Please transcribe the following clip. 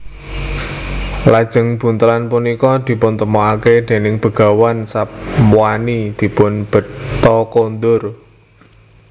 Lajeng buntelan punika dipuntemokaken déning Begawan Sapwani dipun bekta kondur